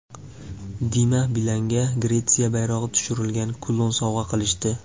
Dima Bilanga Gretsiya bayrog‘i tushirilgan kulon sovg‘a qilishdi.